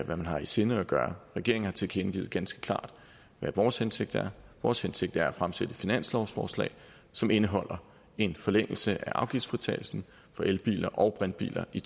man har i sinde at gøre regeringen har tilkendegivet ganske klart hvad vores hensigt er vores hensigt er at fremsætte et finanslovsforslag som indeholder en forlængelse af afgiftsfritagelsen for elbiler og brintbiler i